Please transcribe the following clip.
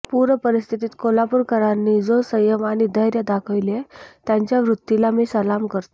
पूर परिस्थितीत कोल्हापूरकरांनी जो संयम आणि धैर्य दाखविले त्यांच्या वृत्तीला मी सलाम करतो